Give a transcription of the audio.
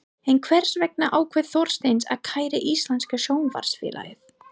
En hvers vegna ákvað Þorsteinn að kæra Íslenska Sjónvarpsfélagið?